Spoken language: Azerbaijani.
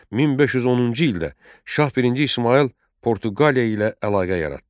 1510-cu ildə Şah birinci İsmayıl Portuqaliya ilə əlaqə yaratdı.